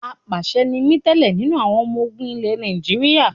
Apàṣẹ ni mí tẹ́lẹ̀ nínú àwọn ọmọ ogun ilẹ Nàìjíríà.